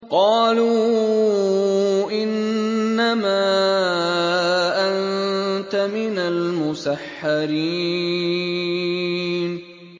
قَالُوا إِنَّمَا أَنتَ مِنَ الْمُسَحَّرِينَ